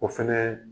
O fɛnɛ